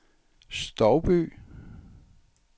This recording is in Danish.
Stouby